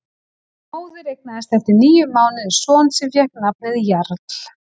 Móðir eignaðist eftir níu mánuði son sem fékk nafnið Jarl.